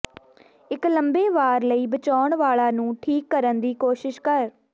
ਇੱਕ ਲੰਮੇ ਵਾਰ ਲਈ ਬਚਾਉਣ ਵਾਲਾ ਨੂੰ ਠੀਕ ਕਰਨ ਦੀ ਕੋਸ਼ਿਸ਼ ਕਰ